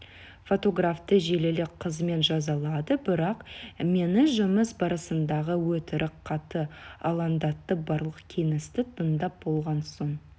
фотографты желілік қызмет жазалады бірақ мені жұмыс барысындағы өтірік қатты алаңдатты барлық кеңесті тыңдап болған соң